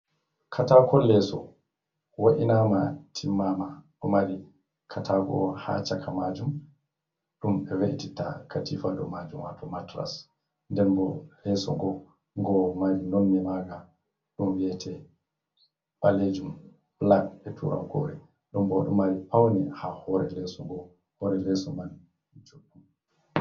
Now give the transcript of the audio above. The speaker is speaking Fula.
Katako leso wa’inama timmama bo mari katako ha chaka majum dum be we’ititta katifa dow majum wato matras, nden bo leso ngo. Ngoɗo mari nonne maga ɗum biyete balejum black, be toggore ɗum bo ɗo mari paune ha hore leso ngo hore leso juɗɗum.